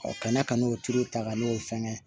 kana ka n'o tuuru ta ka n'o fɛngɛ